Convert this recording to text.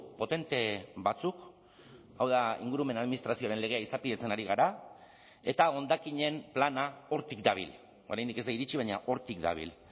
potente batzuk hau da ingurumen administrazioaren legea izapidetzen ari gara eta hondakinen plana hortik dabil oraindik ez da iritsi baina hortik dabil